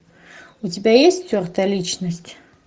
у тебя есть стертая личность